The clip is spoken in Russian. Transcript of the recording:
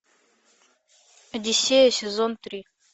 одиссея сезон три